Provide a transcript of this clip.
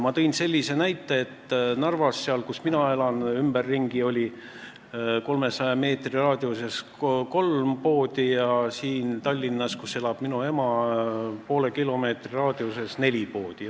Ma tõin sellise näite, et Narvas, kus mina elan, oli ümberringi 300 meetri raadiuses kolm poodi ja siin Tallinnas, kus elab minu ema, oli poole kilomeetri raadiuses neli poodi.